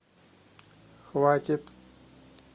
хватит